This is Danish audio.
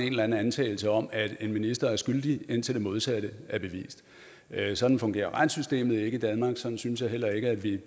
en eller anden antagelse om at en minister er skyldig indtil det modsatte er bevist sådan fungerer retssystemet ikke i danmark sådan synes jeg heller ikke at vi